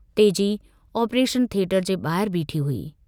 तेजी operation theatre जे बाहिर बीठी हुई।